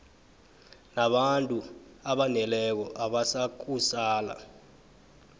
nabantu abaneleko abazakusala